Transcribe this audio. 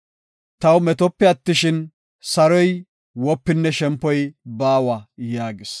Taw metope attishin, saroy, wopinne shempoy baawa” yaagis.